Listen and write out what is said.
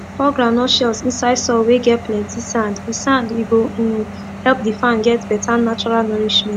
pour groundnut shells inside soil whey get plenty sand e sand e go um help the farm get better natural nourishment